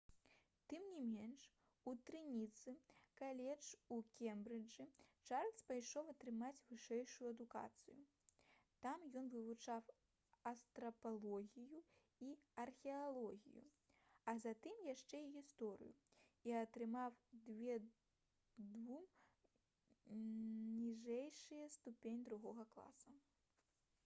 тым не менш у трыніці каледж у кембрыджы чарльз пайшоў атрымаць вышэйшую адукацыю. там ён вывучаў антрапалогію і археалогію а затым яшчэ і гісторыю і атрымаў 2:2 ніжэйшую ступень другога класа